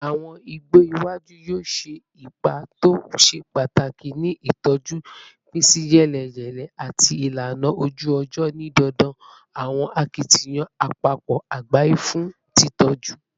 Awọn igbo iwaju yoo ṣe ipa to ṣe pataki ni itọju ipinsiyeleyele ati ilana oju-ọjọ, ni dandan awọn akitiyan apapọ agbaye fun titọju